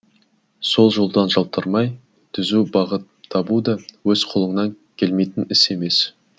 сол жолдан жалтармай түзу бағыт табу да өз қолыңнан келмейтін іс емес